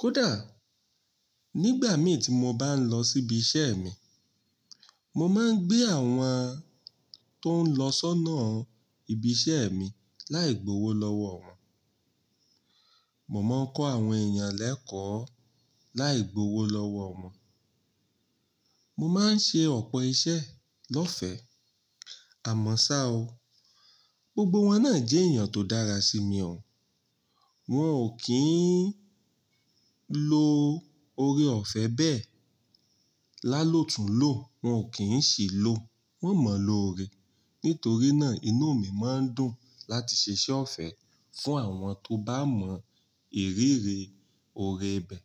Kódà nígbà mì tí mo bá ń lọ sí ibiṣẹ́ mi, mo máa ń gbé àwọn tó ń lọ sọ́nà ibiṣẹ́ mi láì gbowó lọ́wọ́ wọn. Mo máa ń kọ́ àwọn èèyàn lẹ́kọ̀ọ́ láì gbowó lọ́wọ́ wọn. Mo máa ń ṣe ọ̀pọ̀ iṣẹ́ lọ́fẹ́. Àmọ́ ṣá o, gbogbo wọn náà jẹ́ èèyàn tó dára sí mi o. Wọn ò kí ń lo ọrẹ ọ̀fẹ́ bẹ́ẹ̀. Lálótùn lò wọ́n ò kí ń ṣì lò. Wọ́n mọ̀ loore. Nítorí náà inú mi máa ń dùn láti ṣiṣẹ́ ọ̀fẹ́ fún àwọn tó bá mọ ìrírí ore bẹ́ẹ̀.